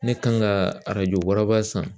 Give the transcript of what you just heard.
Ne kan ka arajo waraba san